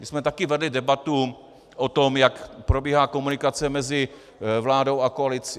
My jsme taky vedli debatu o tom, jak probíhá komunikace mezi vládou a opozicí.